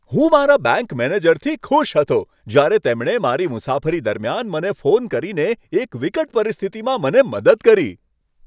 હું મારા બેંક મેનેજરથી ખુશ હતો જ્યારે તેમણે મારી મુસાફરી દરમિયાન મને ફોન કરીને એક વિકટ પરિસ્થિતિમાં મને મદદ કરી.